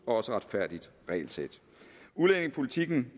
også retfærdigt regelsæt udlændingepolitikken